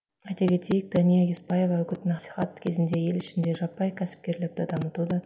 айта кетейік дәния еспаева үгіт насихат кезінде ел ішінде жаппай кәсіпкерлікті дамытуды